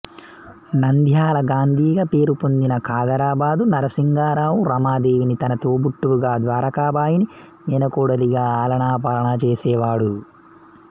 నంద్యాల గాంధీగా పేరుపొందిన కాదరాబాద్ నరసింగరావు రమాదేవిని తన తోబుట్టువుగా ద్వారకాబాయిని మేనకోడలిగా ఆలనా పాలనా చేసేవాడు